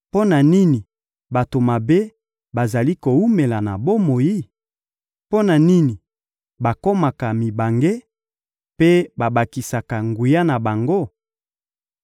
Mpo na nini bato mabe bazali kowumela na bomoi? Mpo na nini bakomaka mibange mpe babakisaka nguya na bango?